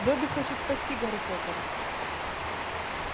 добби хочет спасти гарри поттера